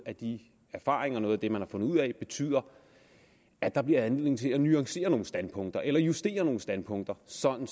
af de erfaringer noget af det man har fundet ud af betyder at der bliver anledning til at nuancere nogle standpunkter eller justere nogle standpunkter sådan